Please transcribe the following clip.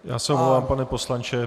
Já se omlouvám, pane poslanče.